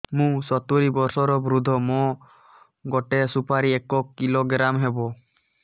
ମୁଁ ସତୂରୀ ବର୍ଷ ବୃଦ୍ଧ ମୋ ଗୋଟେ ସୁପାରି ଏକ କିଲୋଗ୍ରାମ ହେବ